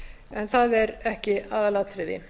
en það er ekki aðalatriði